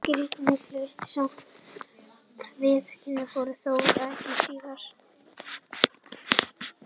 Skýringin hlaut samt ekki viðurkenningu fyrr en þó nokkru síðar.